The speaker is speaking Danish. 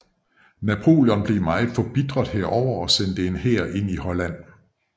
Napoleon blev meget forbitret herover og sendte en hær ind i Holland